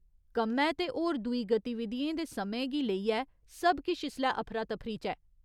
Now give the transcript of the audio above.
कम्मै ते हर दूई गतिविधियें दे समें गी लेइयै सब किश इसलै अफरा तफरी च ऐ।